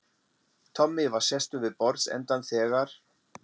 Tommi var sestur við borðsendann þegar